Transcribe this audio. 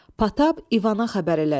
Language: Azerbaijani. Patap İvana xəbər elədi.